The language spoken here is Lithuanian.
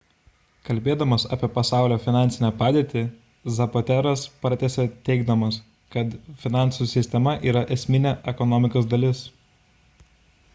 kalbėdamas apie pasaulio finansinę padėtį zapatero'as pratęsė teigdamas kad finansų sistema yra esminė ekonomikos dalis